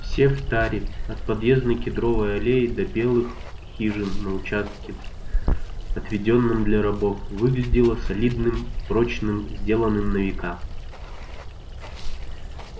все в таре от подъездной кедровой аллеи до белых хижин на участке отведённом для рабов выглядело солидным прочным сделанным на века